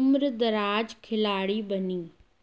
उम्रदराज खिलाड़ी बनीं